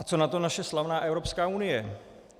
A co na to naše slavná Evropská unie?